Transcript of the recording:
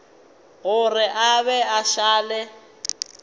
gore a be a šale